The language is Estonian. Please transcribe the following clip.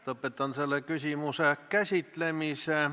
Lõpetan selle küsimuse käsitlemise.